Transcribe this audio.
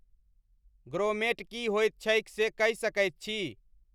grommet की होइत छैक से कहि सकैत छी